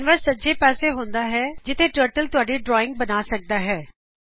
canvas ਸੱਜੇ ਪਾਸੇ ਹੁੰਦਾ ਹੈ ਜਿਥੇ ਟਰਟਲ ਤੁਹਾਡੀ ਡਰਾਇੰਗ ਬਣਾ ਸਕਦਾ ਹੈ